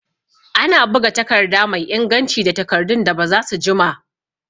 Ana buga takarda mai inganci da takardun da bazasu jima